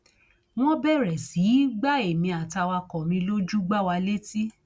wọn bẹrẹ sí í gba èmi àtàwàkọ mi lójú gbá wa létí